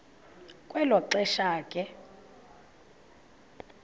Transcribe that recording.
kwelo xesha ke